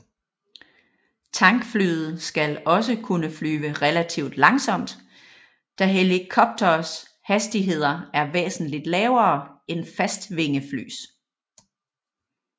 Tankflyet skal også kunne flyve relativt langsomt da helikopteres hastigheder er væsentligt lavere end fastvingeflys